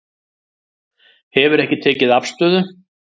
Hefur ekki tekið afstöðu